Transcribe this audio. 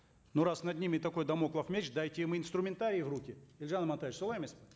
но раз над ними такой дамоклов меч дайте им инструментарий в руки елжан амантаевич солай емес пе